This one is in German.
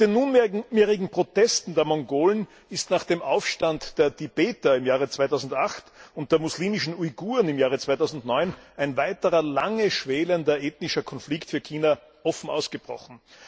Mit den nunmehrigen Protesten der Mongolen ist nach dem Aufstand der Tibeter im Jahr 2008 und der muslimischen Uiguren im Jahr 2009 ein weiterer, lange schwelender ethnischer Konflikt in China offen ausgebrochen.